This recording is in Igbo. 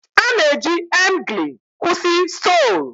A na-eji emgly kwụsị stool